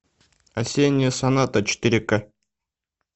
осенняя соната четыре к